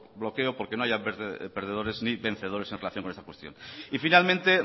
desbloqueo porque no haya perdedores ni vencedores en relación con esa cuestión y finalmente